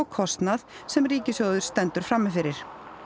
kostnað sem ríkissjóður stendur frammi fyrir